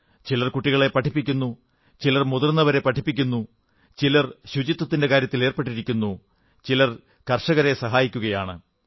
ചിലർ കുട്ടികളെ പഠിപ്പിക്കുന്നു ചിലർ മുതിർന്നവരെ പഠിപ്പിക്കുന്നു ചിലർ ശുചിത്വത്തിന്റെ കാര്യത്തിലേർപ്പെട്ടിരിക്കുന്നു ചിലർ കർഷകരെ സഹായിക്കുകയാണ്